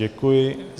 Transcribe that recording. Děkuji.